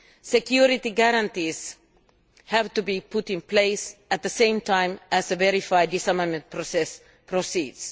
Security guarantees have to be put in place at the same time as the verified disarmament process proceeds.